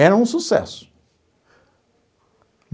Era um sucesso.